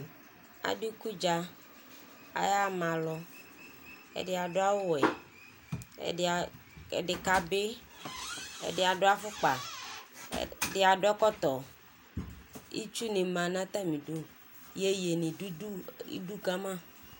Adu ikudza ka yaɣa ma alu atani adu awu wɛ ɛdi kabi ɛdini adu afokpa ɛdini adu ɛkɔtɔ itsuni nu ma nu atamidu iyeye bi du idu kama